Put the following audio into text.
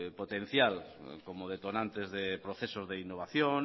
potencial como detonantes de procesos de innovación